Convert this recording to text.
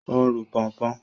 Ó ń ru pọnpọ́n.